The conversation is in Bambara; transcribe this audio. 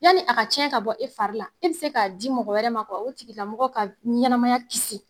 Yani a ka tiɲɛ ka bɔ e fari la e bi se k'a di mɔgɔ wɛrɛ ma ka o tigila mɔgɔ ka ɲɛnɛmaya kisi.